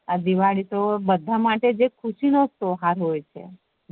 આ દિવાળી તો બધા માટે ખુશી નો તેહવાર હોય છે